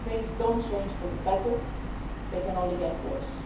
If things do not change for the better, they can only get worse.